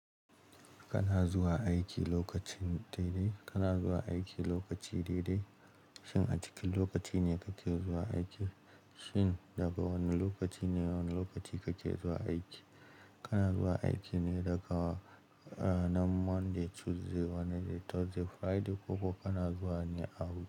Kana zuwa aiki lokacin daidai, kana zuwa aiki lokaci daidai, shin a cikin lokaci ne kake zuwa aiki? Shin daga wane lokaci ne wane lokaci kake zuwa aiki? Kana zuwa aiki ne daga ranar Monday, Tuesday, Wednesday, Thursday, Friday ko kuma kana zuwa ne a wani.